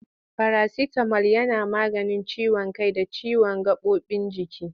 Farasitamol yana maganin ciwon kai da ciwon gaɓoɓin jiki.